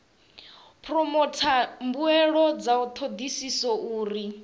phoromotha mbuelo dza thodisiso uri